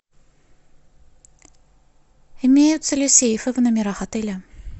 имеются ли сейфы в номерах отеля